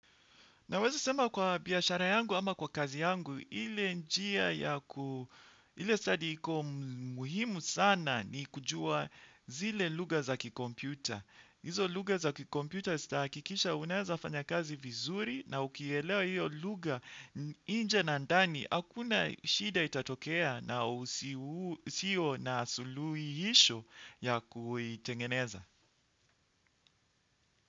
Naweza sema kwa biashara yangu ama kwa kazi yangu ile njia, ile study iko muhimu sana ni kujua zile lugha za kikompyuta. Hizo lugha za kikompyuta zitahakikisha unaweza fanya kazi vizuri na ukielewa hiyo lugha nje na ndani, hakuna shida itatokea na usiyo na suluhisho ya kuitengeneza.